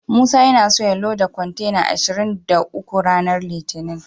Musa yana so ya loda kontena ashirin da uku ranar litinin.